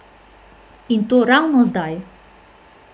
In to ravno zdaj!